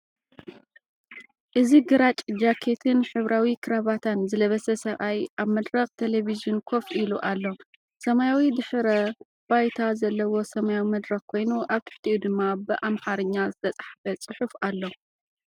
እዚ ግራጭ ጃኬትን ሕብራዊ ክራቫታን ዝለበሰ ሰብኣይ ኣብ መድረኽ ቴሌቪዥን ኮፍ ኢሉ ኣሎ። ሰማያዊ ድሕረ ባይታ ዘለዎ ሰማያዊ መድረኽ ኮይኑ፡ ኣብ ትሕቲኡ ድማ ብኣምሓርኛ ዝተጻሕፈ ጽሑፍ ኣሎ።